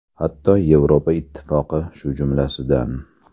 Hatto Yevropa Ittifoqi shu jumlasidan.